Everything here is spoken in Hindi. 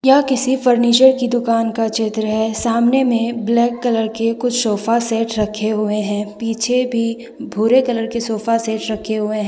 यह किसी फर्नीचर की दुकान का चित्र है सामने में ब्लैक कलर के कुछ सोफा सेट रखे हुए हैं पीछे भी भूरे कलर के सोफा सेट रखे हुए हैं।